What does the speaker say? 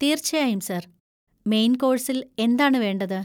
തീർച്ചയായും, sir. Main കോഴ്സിൽ എന്താണ് വേണ്ടത്?